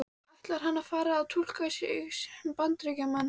Ætlar hann að fara að túlka sig sem Bandaríkjamann?